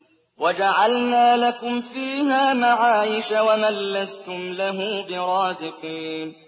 وَجَعَلْنَا لَكُمْ فِيهَا مَعَايِشَ وَمَن لَّسْتُمْ لَهُ بِرَازِقِينَ